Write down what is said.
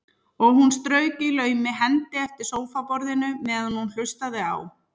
Og hún strauk í laumi hendi eftir sófaborðinu meðan hún hlustaði á